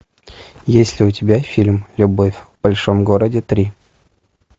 есть ли у тебя фильм любовь в большом городе три